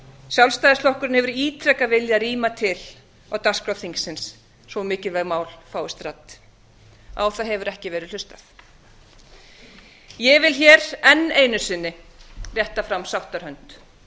sjálfstæðisflokkurinn hefur ítrekað viljað rýma til á dagskrá þingsins svo mikilvæg mál fáist rædd á það hefur ekki verið hlustað ég vil hér enn einu sinni rétta fram sáttarhönd